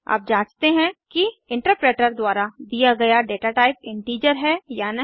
अब जाँचते हैं कि इंटरप्रेटर द्वारा दिया गया डेटाटाइप इंटीजर है या नहीं